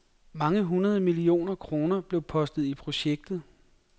Mange hundrede millioner kroner blev postet i projektet.